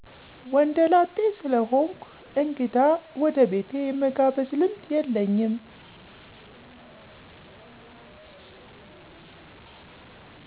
ወንደ ላጤ ስለሆንኩ እንግዳ ወደ ቤቴ የመጋብዝ ልምድ የለኝም።